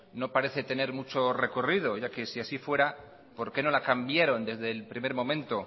no parece tener mucho recorrido ya que si así fuera por qué no la cambiaron desde el primer momento